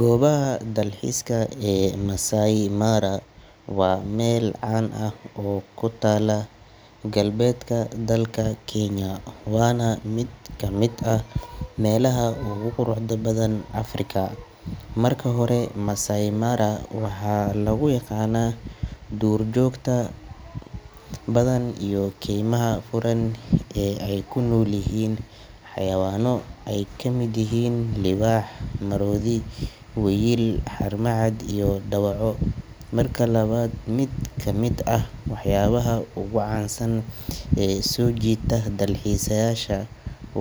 Gobaha dalxiiska ee Masai Mara waa meel caan ah oo ku taalla galbeedka dalka Kenya, waana mid ka mid ah meelaha ugu quruxda badan Afrika. Marka hore, Masai Mara waxaa lagu yaqaannaa duurjoogta badan iyo keymaha furan ee ay ku nool yihiin xayawaanno ay ka mid yihiin libaax, maroodi, wiyil, haramcad, iyo dawaco. Marka labaad, mid ka mid ah waxyaabaha ugu caansan ee soo jiita dalxiisayaasha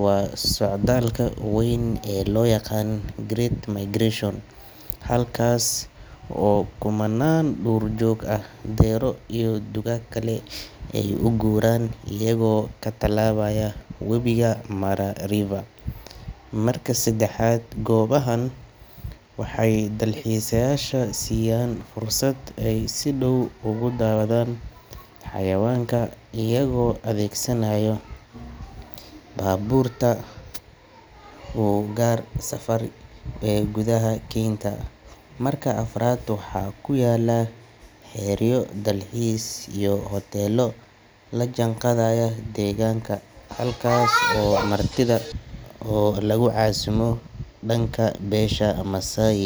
waa socdaalka weyn ee loo yaqaan Great Migration, halkaas oo kumanaan lo’ duurjoog ah, deero iyo dugaag kale ay u guuraan iyagoo ka tallaabaya webiga Mara River. Marka saddexaad, goobahan waxay dalxiisayaasha siiyaan fursad ay si dhow ugu daawadaan xayawaanka iyagoo adeegsanaya baabuurta u gaar ah safari ee gudaha keynta. Marka afraad, waxaa ku yaalla xeryo dalxiis iyo hoteello la jaanqaadaya deegaanka, halkaas oo martida lagu casuumo dhaqanka beesha Maasai.